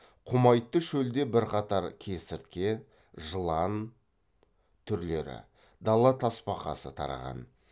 құмайтты шөлде бірқатар кесіртке жылан түрлері дала тасбақасы тараған